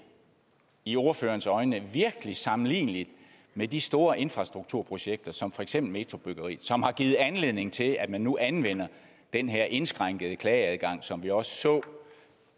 i ordførerens øjne sammenligneligt med de store infrastrukturprojekter som for eksempel metrobyggeriet som har givet anledning til at man nu anvender den her indskrænkede klageadgang som vi også så